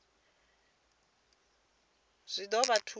zwa ḓo vha thusa u